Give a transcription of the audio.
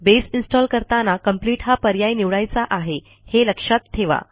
बसे install करताना complete हा पर्याय निवडायचा आहे हे लक्षात ठेवा